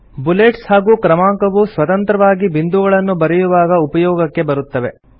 bullets ಹಾಗೂ ಕ್ರಮಾಂಕವು ಸ್ವತಂತ್ರವಾಗಿ ಬಿಂದುಗಳನ್ನು ಬರೆಯುವಾಗ ಉಪಯೋಗಕ್ಕೆ ಬರುತ್ತವೆ